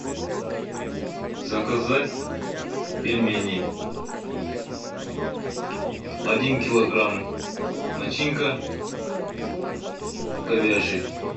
заказать пельмени один килограмм начинка говяжий